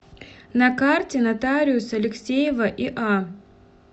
на карте нотариус алексеева иа